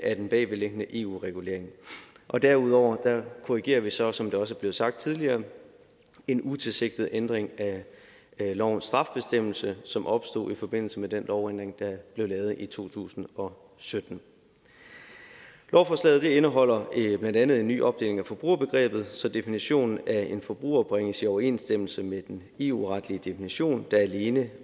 af den bagvedliggende eu regulering og derudover korrigerer vi så som det også er blevet sagt tidligere en utilsigtet ændring af lovens straffebestemmelse som opstod i forbindelse med den lovændring der blev lavet i to tusind og sytten lovforslaget indeholder blandt andet en ny opdeling af forbrugerbegrebet så definitionen af en forbruger bringes i overensstemmelse med den eu retlige definition der alene